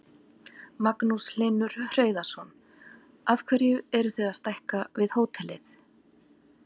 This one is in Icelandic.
Magnús Hlynur Hreiðarsson: Af hverju eruð þið að stækka við hótelið?